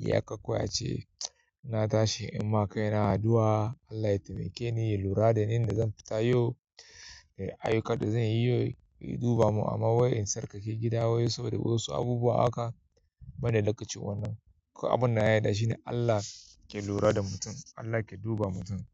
Iyaka kawai ace ina tashi in ma kai na addu'a, Allah ya taimake ni, ya lura da ni, da zan fita yau, ayyukan da zan yi yau, ya duba mun amma wai tsarkake gida wai saboda wasu abubuwa haka banda lokacin wannan. Ko abin na yarda shine Allah ke lura da mutum, Allah ke duba mutum.